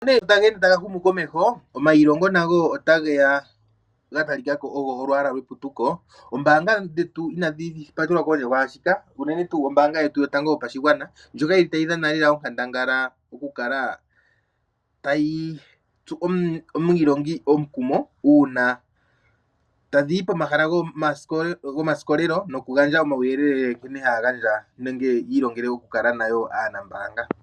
Sho nee taga ende taga humu komeho omayilongo nago oga talikako ogo olwaala lweputuko .Oombaanga dhetu inadhi patelwa kondje kwaashika unene tuu ombaanga yetu yotango yopashigwana ndjoka tayi dhana lela onkandangala okukala tayi tsu omwiilongi omukumo uuna tadhiyi pomahala go manongelo noku gandja uuyelele nkene haya gandja nenge yi ilongele okukala nayo aanambaanga.